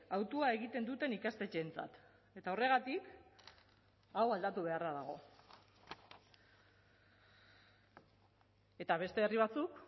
hautua egiten duten ikastetxeentzat eta horregatik hau aldatu beharra dago eta beste herri batzuk